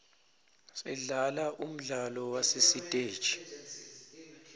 sidlala umdlalo wasesiteji